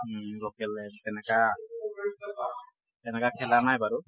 উম local এ তেনেকুৱা তেনেকুৱা খেলা নাই বাৰু।